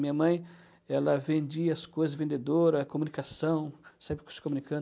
Minha mãe, ela vendia as coisas, vendedora, comunicação, sempre se comunicando.